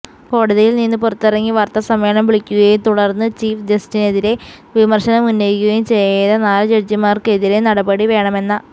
കോടതിയില് നിന്ന് പുറത്തിറങ്ങി വാര്ത്തസമ്മേളനം വിളിക്കുകയും തുടര്ന്ന് ചീഫ് ജസ്റ്റിനെതിരെ വിമര്ശനം ഉന്നയിക്കുകയും ചെയ്ത നാല് ജഡ്ജിമാര്ക്കെതിരെ നടപടി വേണമെന്ന